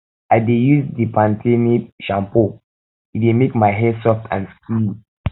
um i dey use um di pan ten e shampoo e dey um make my hair soft and silky